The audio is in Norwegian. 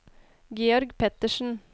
Georg Pettersen